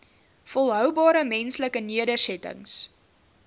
volhoubare menslike nedersettings